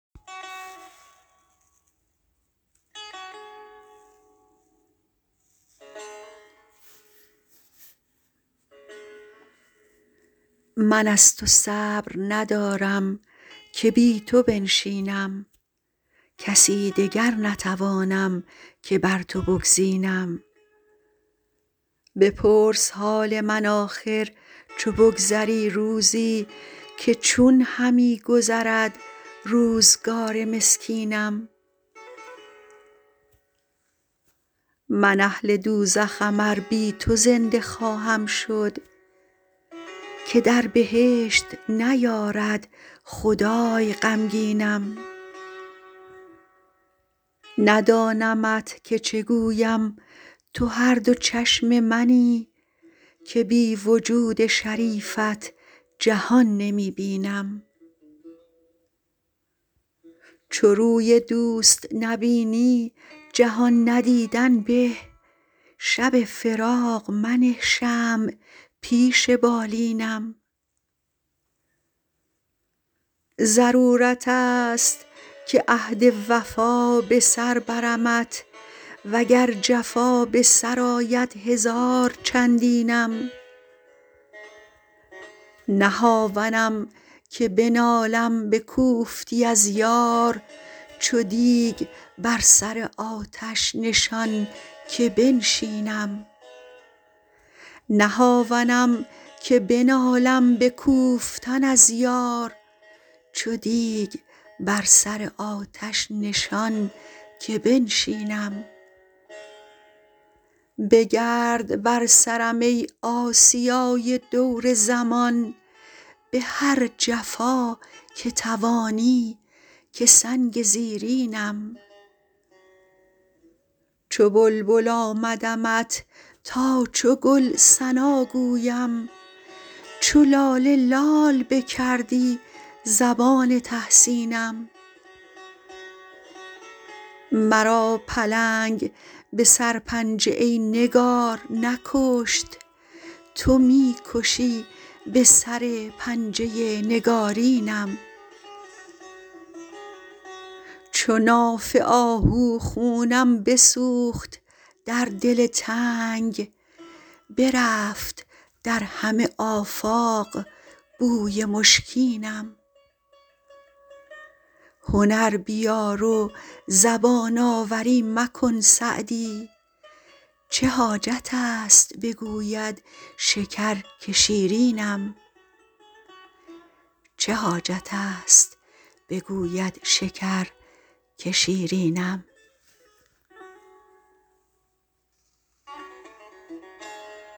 من از تو صبر ندارم که بی تو بنشینم کسی دگر نتوانم که بر تو بگزینم بپرس حال من آخر چو بگذری روزی که چون همی گذرد روزگار مسکینم من اهل دوزخم ار بی تو زنده خواهم شد که در بهشت نیارد خدای غمگینم ندانمت که چه گویم تو هر دو چشم منی که بی وجود شریفت جهان نمی بینم چو روی دوست نبینی جهان ندیدن به شب فراق منه شمع پیش بالینم ضرورت است که عهد وفا به سر برمت و گر جفا به سر آید هزار چندینم نه هاونم که بنالم به کوفتی از یار چو دیگ بر سر آتش نشان که بنشینم بگرد بر سرم ای آسیای دور زمان به هر جفا که توانی که سنگ زیرینم چو بلبل آمدمت تا چو گل ثنا گویم چو لاله لال بکردی زبان تحسینم مرا پلنگ به سرپنجه ای نگار نکشت تو می کشی به سر پنجه نگارینم چو ناف آهو خونم بسوخت در دل تنگ برفت در همه آفاق بوی مشکینم هنر بیار و زبان آوری مکن سعدی چه حاجت است بگوید شکر که شیرینم